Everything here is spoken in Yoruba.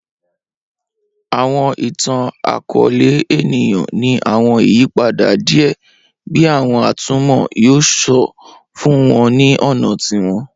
Awọn itan-akọọlẹ eniyan ni awọn iyipada diẹ bi awọn atumọ yoo sọ fun wọn ni ọna tiwọn